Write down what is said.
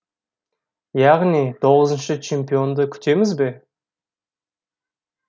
яғни тоғызыншы чемпионды күтеміз бе